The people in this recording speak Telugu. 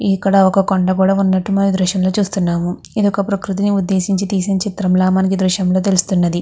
ఇక్కడ ఒక కొండ కూడా ఉన్నట్టు మనం ఈ దృశ్యం లో చూస్తున్నాము. ఇది ఒక ప్రకృతు ని ఉద్దేశించి తీసిన చిత్రం లా మనకి ఈ దృశ్యం లో తెలుస్తున్నది.